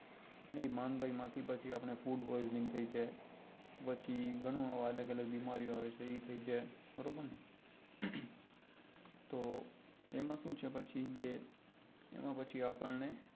એ માંદાઈ માંથી પછી આપણને food poison થઇ જાય પછી ઘણું આવે અલગ અલગ બીમારી આવે એ થઇ જાય બરોબર ને તો એમાં શું છે પછી કે એમાં પછી આપણને